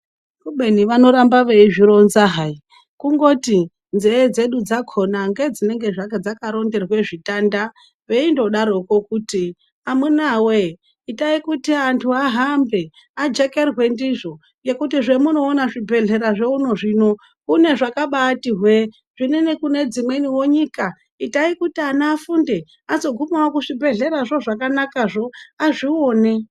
Kubeni vanoramba veizvironza hai kungoti nzee dzedu ngedzinenge dzakaronderwa zvitanda, veindodaroko kuti amunaa wee itai kuti antu ahambe ajekerwe ndizvo kuti hemunoona kunezvibhedhlera zvakabaati hwee zvimweni kune dzimweniwo nyika itai kuti ana afunde azoguhawo kuzvibhedhlera zvona zvakanaka azvione.